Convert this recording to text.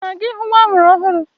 Ị na-aga ịhụ nwa amụrụ ọhụrụ?